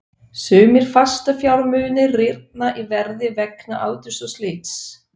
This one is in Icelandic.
Sumir fastafjármunir rýrna í verði vegna aldurs og slits.